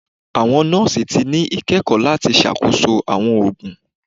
Awọn nọọsi ti ni ikẹkọ lati ṣakoso awọn oogun